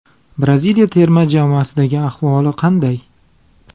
Braziliya terma jamoasidagi ahvoli qanday?